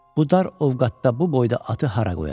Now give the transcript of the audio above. Bu dar ovqatda bu boyda atı hara qoyacaq?